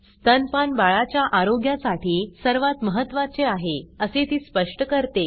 स्तनपान बाळाच्या आरोग्यासाठी सर्वात महत्त्वाचे आहे असे ती स्पष्ट करते